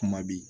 Kuma bi